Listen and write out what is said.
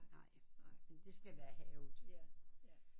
Men det skal være havet